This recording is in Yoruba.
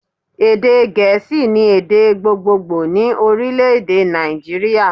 Èdè gèésì ni èdè gbogbogbò ni Orílèdè Nàìjíríà